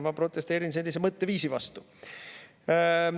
Ma protesteerin sellise mõtteviisi vastu.